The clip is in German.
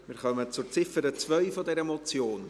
Wir kommen zur Ziffer 2 der Motion.